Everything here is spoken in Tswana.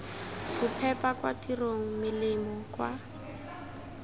bophepa kwa tirong melemo kwa